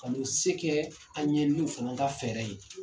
Ka n'u se kɛ an ye n'u fana ka fɛɛrɛ ye.